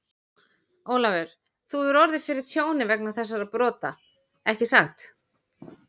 Ólafur, þú hefur orðið fyrir tjóni vegna þessara brota, ekki satt?